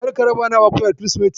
Kar ka raba naman akuya da Kirsimeti.